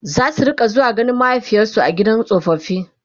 zasu rinka zuwa ganin mahaifiyarsu a gidan tsofaffi